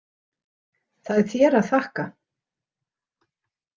Það er þér að þakka.